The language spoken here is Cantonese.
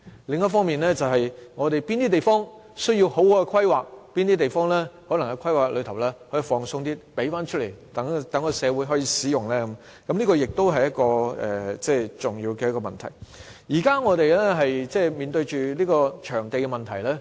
另一方面，我們有哪些地方需要妥善規劃，哪些地方需要較寬鬆的規劃，以便騰出土地供社會使用，這亦是重要的問題。我們現正面對場地問題。